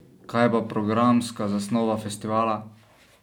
Kaj pa programska zasnova festivala?